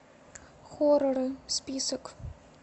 хорроры список